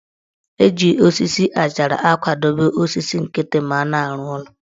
Eji osisi achara akwadobe osisi nkịtị ma a na-arụ ụlọ